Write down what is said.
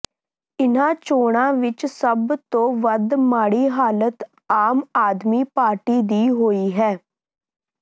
ਇਨ੍ਹਾਂ ਚੋਣਾਂ ਵਿੱਚ ਸਭ ਤੋਂ ਵੱਧ ਮਾੜੀ ਹਾਲਤ ਆਮ ਆਦਮੀ ਪਾਰਟੀ ਦੀ ਹੋਈ ਹੈ